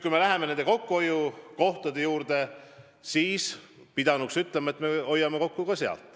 Kui me läheme kokkuhoiukohtade juurde, siis pidanuks ütlema, et me hoiame kokku ka mujal.